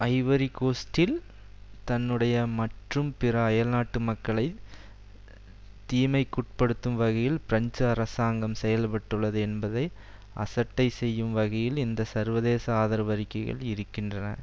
Ivory கோஸ்ட்டில் தன்னுடைய மற்றும் பிற அயல்நாட்டு மக்களை தீமைக்குட்படுத்தும் வகையில் பிரெஞ்சு அரசாங்கம் செயல் பட்டுள்ளது என்பதை அசட்டை செய்யும் வகையில் இந்த சர்வதேச ஆதரவு அறிக்கைகள் இருக்கின்றன